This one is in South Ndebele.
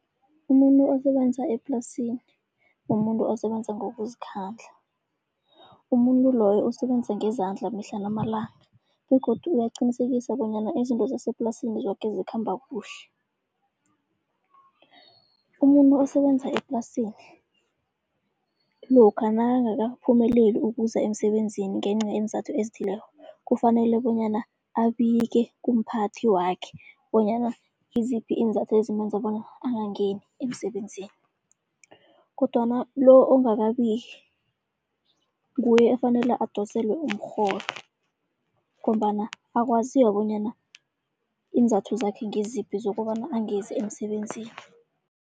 Umuntu osebenza eplasini, mumuntu osebenza ngokuzikhandla. Umuntu loyo usebenza ngezandla mihla namalanga begodu uyaqinisekisa bonyana izinto zaseplasini zoke zikhamba kuhle. Umuntu osebenza eplasini lokha nakangakaphumeleli ukuza emsebenzini ngenca yeenzathu ezithileko, kufanele bonyana abike kumphathi wakhe bonyana ngiziphi iinzathu ezimenza bona angangeni emsebenzini. Kodwana lo ongakabiki nguye efanele adoselwe umrholo ngombana akwaziwa bonyana iinzathu zakhe ngiziphi zokobana angezi emsebenzini.